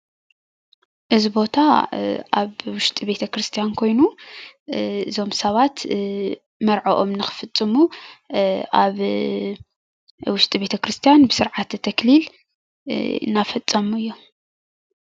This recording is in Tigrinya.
እዚ ቦታ ኣብ ዉሽጢ ቤተ ክርስትያን ኮይኑ እዞም ሰባት መርዐኦም ንኽፍፅሙ ኣብ ዉሽጢ ቤተ ክርስትያን ብስርዓተ ተክሊል እናፈፀሙ እዮም፡፡